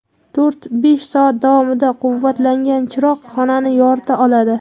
To‘rt-besh soat davomida quvvatlangan chiroq xonani yorita oladi.